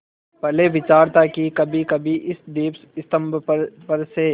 पहले विचार था कि कभीकभी इस दीपस्तंभ पर से